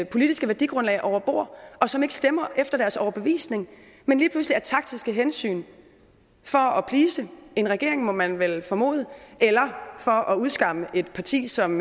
politiske værdigrundlag over bord og som ikke stemmer efter deres overbevisning men lige pludselig af taktiske hensyn for at please en regering må man vel formode eller for at udskamme et parti som